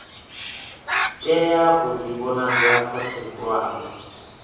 tea u ḓivhonadza khothe khulwane